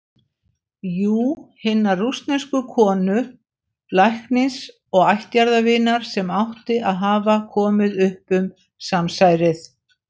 Jú- hinnar rússnesku konu, læknis og ættjarðarvinar, sem átti að hafa komið upp um samsærið.